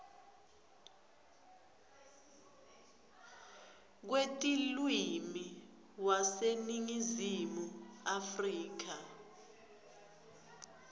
wetilwimi waseningizimu afrika